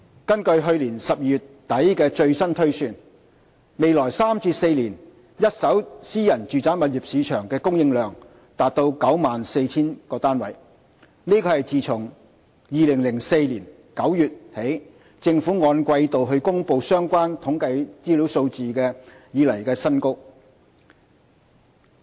根據去年12月底的最新推算，未來3至4年一手私人住宅物業市場的供應量達 94,000 個單位，是自2004年9月起政府按季度公布相關統計資料數字以來的新高。